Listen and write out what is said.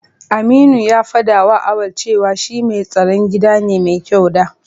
Aminu ya faɗawa Auwal cewa shi mai tsaron gida ne mai kyau da.